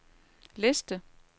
liste